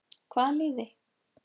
Hvaða liði?